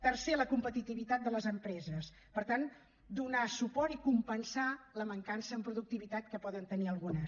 tercer la competitivitat de les empreses per tant donar suport i compensar la mancança en productivitat que poden tenir algunes